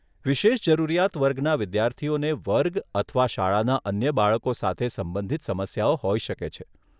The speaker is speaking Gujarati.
વિશેષ જરૂરિયાત વર્ગના વિદ્યાર્થીઓને વર્ગ અથવા શાળાના અન્ય બાળકો સાથે સંબંધિત સમસ્યાઓ હોઈ શકે છે.